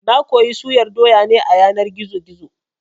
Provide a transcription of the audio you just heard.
Na koyi suyar doya ne a yanar gizo-gizo